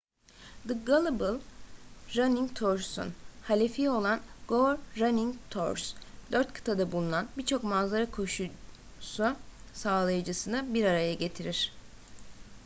the global running tours'un halefi olan go running tours dört kıtada bulunan birçok manzara koşusu sağlayıcısını bir araya getirir